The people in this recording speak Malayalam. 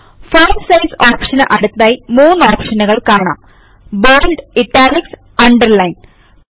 ഫോണ്ട് സൈസ് ഓപ്ഷന് അടുത്തായി മൂന്നു ഓപ്ഷനുകൾ കാണാം bolditalicഅണ്ടർലൈൻ